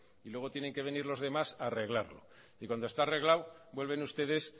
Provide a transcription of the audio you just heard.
y luego tienen que venir los demás a arreglarlo y cuando está arreglado vuelven ustedes